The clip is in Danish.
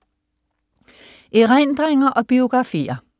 Erindringer og biografier